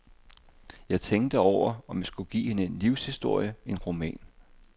Jeg tænkte over, om jeg skulle give hende en livshistorie, en roman.